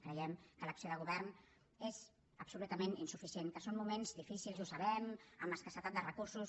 creiem que l’acció de govern és absolutament insuficient que són moments difícils i ho sabem amb escassetat de recursos